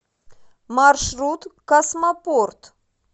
маршрут космопорт